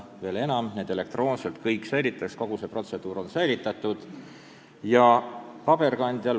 Veel enam, need kõik säilitatakse elektroonselt, kogu see protseduur on turvatud ja eelnõud duubeldatakse või kopeeritakse.